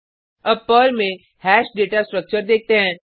अब पर्ल में hash data structure देखते हैं